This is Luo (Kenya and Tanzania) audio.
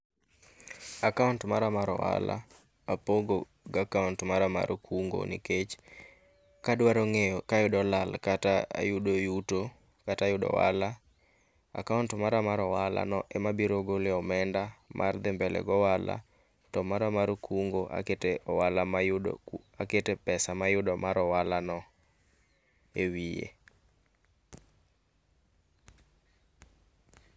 Akaont mara mar ohala, apogo gakaont mara mar kungo nikech, kadwaro ng'eyo kayudo lal kata ayudo yuto kata ayudo ohala, akaont mara mar ohala no ema abiro goloe omenda mar dhi mbele goala to mara mar kungo akete ohala mayudo akete pesa mayudo mar ohala no, ewiye